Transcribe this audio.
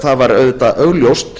það var augljóst